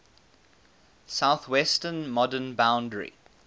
southwestern modern boundary